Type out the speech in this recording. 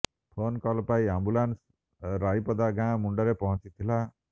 phone call ପାଇ ambulance Raipada ଗାଁ ମୁଣ୍ଡରେ ପହଞ୍ଚିଥିଲା